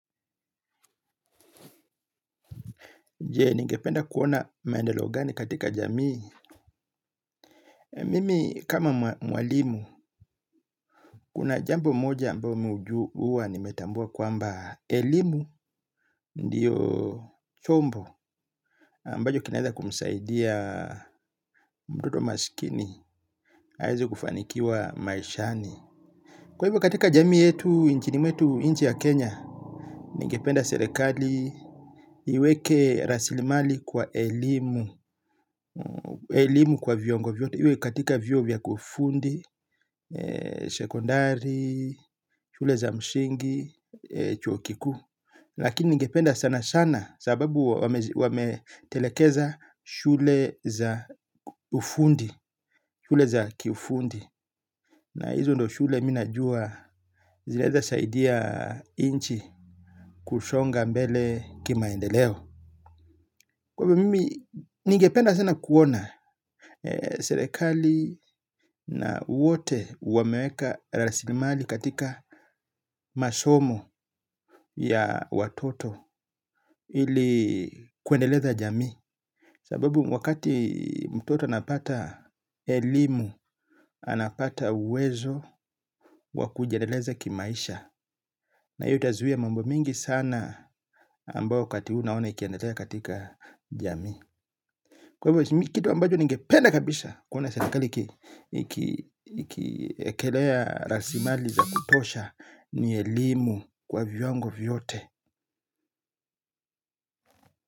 Je, ningependa kuona maendeleo gani katika jamii. Mimi kama mwalimu, kuna jambo moja ambayo mi huju huwa nimetambua kwamba elimu ndiyo chombo. Ambacho kinaweza kumsaidia mtoto maskini, aweze kufanikiwa maishani. Kwa hivyo katika jamii yetu, nchini mwetu nchi ya Kenya, ningependa serikali, iweke rasilimali kwa elimu. Elimu kwa viongo vyote iwe katika vyuo vya kufundi. Sekondari shule za msingi chuo kikuu. Lakini ningependa sana sana sababu wametelekeza shule za ufundi shule za kiufundi. Na hizo ndio shule mi najua. Zinaeza saidia nchi kusonga mbele Kimaendeleo. Kwa hivo mimi ningependa sana kuona Serekali Na wote wameweka rasilimali katika masomo ya watoto ili kuendeleza jamii sababu wakati mtoto anapata elimu. Anapata uwezo wa kujiendeleza kimaisha. Na hii utazuia mambo mingi sana ambao wakati huu naona ikiendelea katika jamii. Kwa hivyo kitu ambacho ningependa kabisa kuona serikali ikiekelea rasilimali za kutosha. Ni elimu kwa viwango vyote.